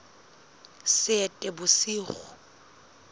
seetebosigo